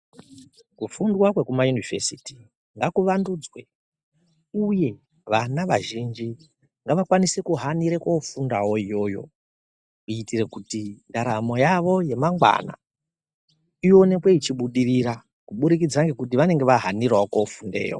Kufundwa kwekumayunivhesiti ngakuvandudzwe uye vana vazhinji ngavakwanise kuhanire kofundawo iyoyo kutire kuti ndaramo yavo yamangwana ionekwe ichibudirira kubudikidza ngekuti vanenge vahanirawo kofundeyo.